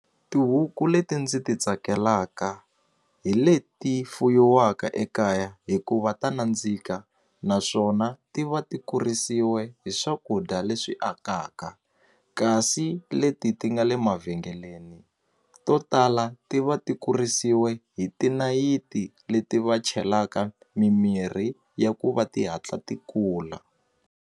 Tihuku leti ndzi ti tsakelaka hi leti fuyiwaka ekaya hikuva ta nandzika naswona ti va ti kurisiwe hi swakudya leswi akaka kasi leti ti nga le mavhengeleni to tala ti va ti kurisiwe hi tinayiti leti va chelaka mimirhi ya ku va ti hatla ti kula.